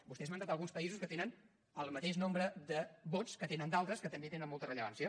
vostè ha esmentat alguns països que tenen el mateix nombre de vots que tenen d’altres que també tenen molta rellevància